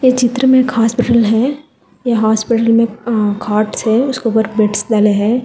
चित्र में एक हॉस्पिटल है ये हॉस्पिटल अ खाटस हैं उसके ऊपर बेडशीट डले हैं।